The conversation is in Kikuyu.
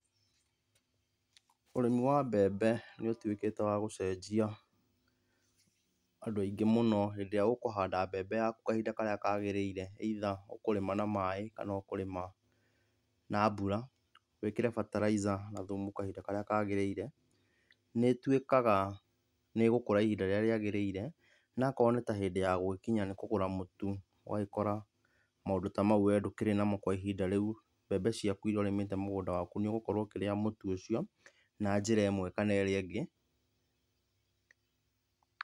Ũrĩmi wa mbembe nĩ ũtuĩkĩte wa gũcenjia andũ aingĩ mũno, hĩndĩ ĩrĩa ũkũhanda mbembe yaku kahinda karĩa kagĩrĩire, either ũkũrĩma na maĩ kana ũkũrĩma na mbura, wĩkĩre bataraiza na thumu kahinda karĩa kagĩrĩire, nĩĩtuĩkaga nĩ ĩgũkũra ihinda rĩrĩa rĩagĩrĩire na akorwo nĩ ta hĩndĩ ya gũgĩkinya nĩ kũgũra mũtu ũgagĩkora maũndũ ta mau rĩu we ndũkĩrĩ namo kwa ihinda rĩu, mbembe ciaku iria ũrĩmĩte ihinda ta rĩu nĩ ũgũkorwo ũkĩrĩa mũtu ũcio, na njĩra ĩmwe kana ĩrĩa ĩngĩ.